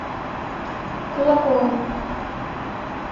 кулакову